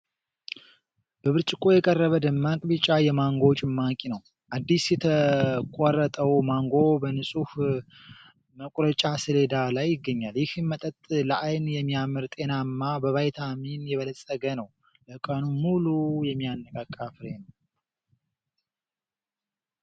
በብርጭቆ የቀረበ ደማቅ ቢጫ የማንጎ ጭማቂ ነው። አዲስ የተቆረጠው ማንጎ በንጹህ መቁረጫ ሰሌዳ ላይ ይገኛል። ይህ መጠጥ ለዓይን የሚያምር፣ ጤናማና በቫይታሚን የበለፀገ ነው። ለቀኑ ሙሉ የሚያነቃቃ ፍሬ ነው።